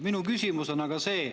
Minu küsimus on aga selline.